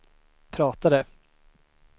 pratade